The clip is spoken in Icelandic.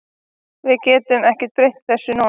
Við getum ekki breytt þessu núna.